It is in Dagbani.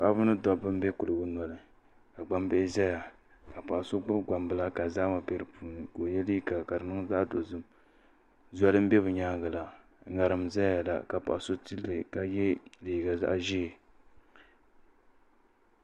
Paɣaba ni dabba n bɛ kuligi noli ka gbambihi ʒɛya ka paɣa so gbubi gbambila ka zahama bɛ di puuni ka o yɛ liiga ka di niŋ zaɣ dozim zolui n bɛ bi nyaangi la ŋarim n ʒɛya la ka paɣa so tilli ka yɛ liiga zaɣ ʒiɛ